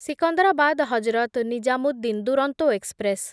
Secunderabad Hazrat Nizamuddin Duronto express